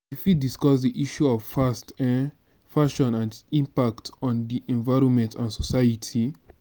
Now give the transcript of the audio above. you fit discuss di issue of fast um fashion and its impact on di environment and society.